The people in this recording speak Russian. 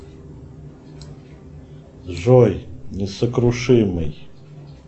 джой несокрушимый